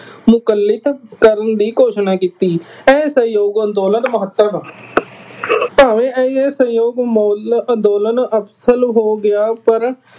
ਮੁਕੱਲਿਤ ਕਰਨ ਦੀ ਘੋਸ਼ਣਾ ਕੀਤੀ। ਇਹ ਸਹਿਯੋਗ ਅੰਦੋਲਨ ਮਹੱਤਵ, ਭਾਵੇ ਇਹ ਸਹਿਯੋਗ ਅੰਦੋਲਨ ਅੰਦੋਲਨ ਅਸਫਲ ਹੋ ਗਿਆ ਪਰ